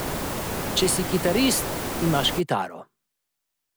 Če si kitarist, imaš kitaro.